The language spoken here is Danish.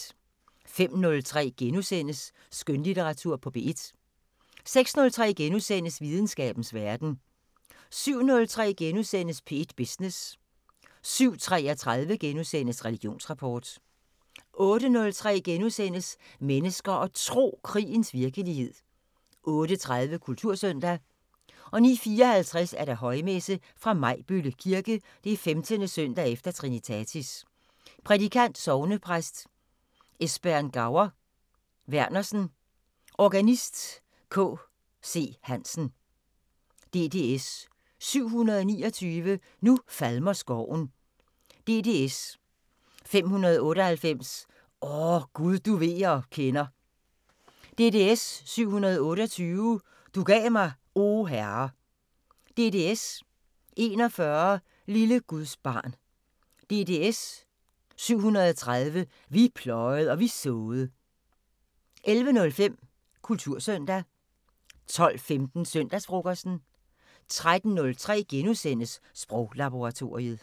05:03: Skønlitteratur på P1 * 06:03: Videnskabens Verden * 07:03: P1 Business * 07:33: Religionsrapport * 08:03: Mennesker og Tro: Krigens virkelighed * 08:30: Kultursøndag 09:54: Højmesse - Fra Majbølle Kirke. 15. søndag efter Trinitatis. Prædikant: Sognepræst Esbern Gaur Vernersen. Organist: K. C. Hansen. DDS 729: "Nu falmer skoven". DDS: 598: "O, Gud du ved og kender". DDS: 728: "Du gav mig, O Herre". DDS: 41: "Lille Guds barn". DDS: 730: "Vi pløjed' og vi såed'. 11:05: Kultursøndag 12:15: Søndagsfrokosten 13:03: Sproglaboratoriet *